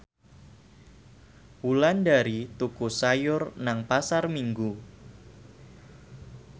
Wulandari tuku sayur nang Pasar Minggu